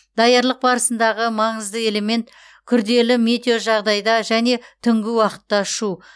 даярлық барысындағы маңызды элемент күрделі метеожағдайда және түнгі уақытта ұшу